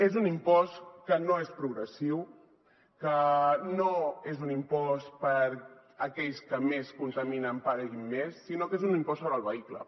és un impost que no és progressiu que no és un impost perquè aquells que més contaminen paguin més sinó que és un impost sobre el vehicle